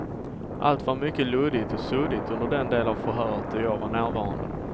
Allt var mycket luddigt och suddigt under den del av förhöret då jag var närvarande.